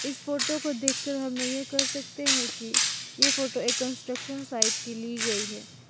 इस फोटो को देखकर हम यह कह सकते है कि ये फोटो एक कंस्ट्रक्शन साइट की ली गई है।